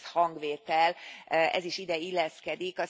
Az egész hangvétel, ez is ide illeszkedik.